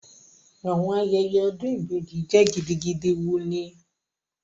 Awọn ayẹyẹ odun ibeji jẹ gidigidi wuni